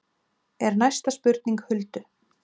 er næsta spurning Huldu.